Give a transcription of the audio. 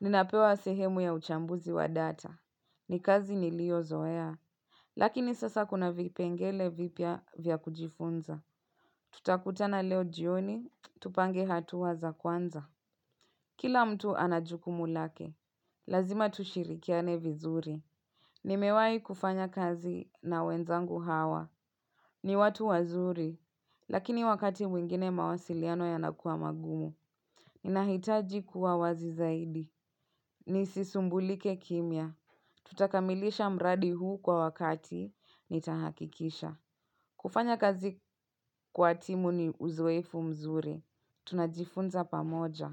Ninapewa sehemu ya uchambuzi wa data. Ni kazi nilio zoea. Lakini sasa kuna vipengele vipya vya kujifunza. Tutakutana leo jioni. Tupange hatuwa za kwanza. Kila mtu anajukumu lake. Lazima tushirikiane vizuri. Nimewai kufanya kazi na wenzangu hawa. Ni watu wazuri, lakini wakati mwingine mawasiliano yanakuwa magumu. Ninahitaji kuwa wazi zaidi. Nisisumbulike kimya. Tutakamilisha mradi huu kwa wakati nitahakikisha. Kufanya kazi kwa timu ni uzoefu mzuri. Tunajifunza pamoja.